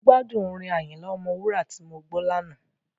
Mo gbádùn orin Àyìnlà Ọmọwúrà tí mo gbọ́ lánàá.